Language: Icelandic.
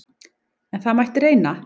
En það mætti reyna!